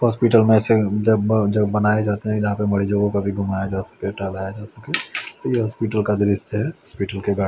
hospital में से जब जब बनाया जाता है याहाँ पे बड़े लोगों को घुमाया जा सके टहलाया जा सके यह हॉस्पिटल का दृश्य है हॉस्पिटल के --